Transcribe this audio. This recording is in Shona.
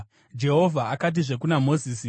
Jehovha akatizve kuna Mozisi,